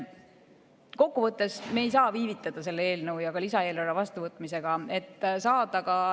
Kokkuvõttes: me ei saa viivitada selle eelnõu ja ka lisaeelarve vastuvõtmisega.